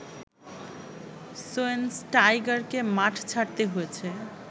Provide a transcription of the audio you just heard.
শোয়েনস্টাইগারকে মাঠ ছাড়তে হয়েছে